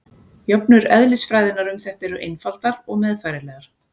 Jöfnur eðlisfræðinnar um þetta eru einfaldar og meðfærilegar.